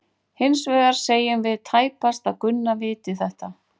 Hins vegar segjum við tæpast að Gunna viti þetta.